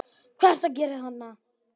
HVAÐ ERTU AÐ GERA ÞARNA!